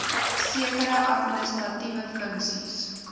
sekere administratiewe funksies